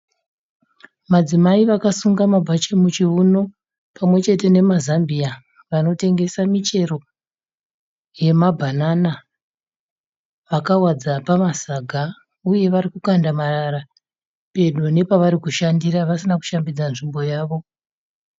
Madzimai vakasungwa mabhachi muchiuno pamwechete nemazambiya. Vanotengesa michero yema bhanana vakawadza pamasaga. uyewo vari kukanda marara pedo nepavari kushandira vasina kushambidza nzvimbo yavo.